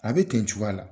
A bɛ ten cogoya la